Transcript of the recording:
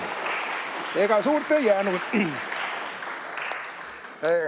Ega suurt ei jäänud.